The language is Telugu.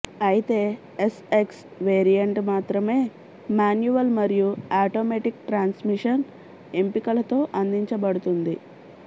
అయితే ఎస్ఎక్స్ వేరియంట్ మాత్రమే మాన్యువల్ మరియు ఆటోమేటిక్ ట్రాన్స్మిషన్ ఎంపికలతో అందించబడుతుంది